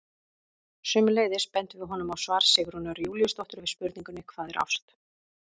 Sömuleiðis bendum við honum á svar Sigrúnar Júlíusdóttur við spurningunni Hvað er ást?